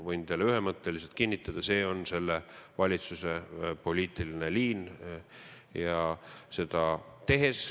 Võin teile ühemõtteliselt kinnitada, et see on selle valitsuse poliitiline liin.